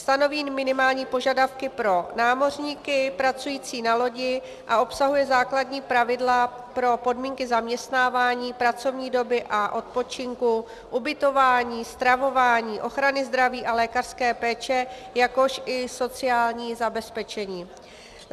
Stanoví minimální požadavky pro námořníky pracující na lodi a obsahuje základní pravidla pro podmínky zaměstnávání, pracovní doby a odpočinku, ubytování, stravování, ochrany zdraví a lékařské péče, jakož i sociální zabezpečení.